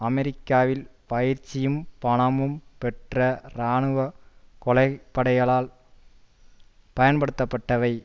அமெரிக்காவில் பயிற்சியும் பணமும் பெற்ற இராணுவ கொலைப்படைகளால் பயன்படுத்தப்பட்டவை